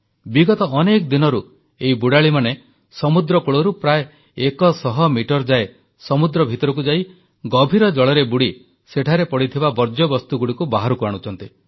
ବିଗତ ଅନେକ ଦିନରୁ ଏହି ବୁଡାଳୀମାନେ ସମୁଦ୍ରକୂଳରୁ ପ୍ରାୟ 100 ମିଟର ଯାଏ ସମୁଦ୍ର ଭିତରକୁ ଯାଇ ଗଭୀର ଜଳରେ ବୁଡ଼ି ସେଠାରେ ପଡ଼ିଥିବା ବର୍ଜ୍ୟବସ୍ତୁଗୁଡ଼ିକୁ ବାହାରକୁ ଆଣୁଛନ୍ତି